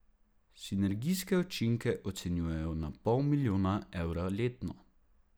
Sinergijske učinke ocenjujejo na pol milijona evra letno.